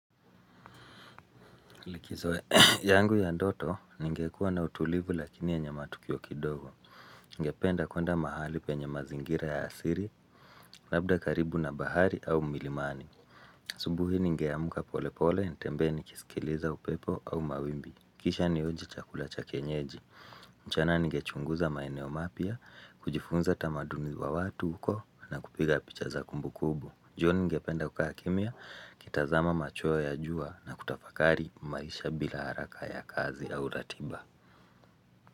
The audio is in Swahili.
Likizo yangu ya ndoto ningekuwa na utulivu lakini yenye matukio kidogo. Ningependa kuenda mahali penye mazingira ya asili labda karibu na bahari au milimani. Asubuhi ningeamka pole pole ntembee nikisikiliza upepo au mawimbi. Kisha nionje chakula cha kienyeji. Mchana ningechunguza maeneo mapya kujifunza tamaduni wa watu huko na kupiga picha za kumbu kumbu. Jioni ningependa kukaa kimya nikitazama machweo ya jua na kutafakari maisha bila haraka ya kazi au ratiba.